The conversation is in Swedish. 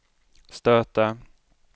stöta